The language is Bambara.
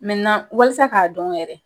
walasa k'a dɔn yɛrɛ.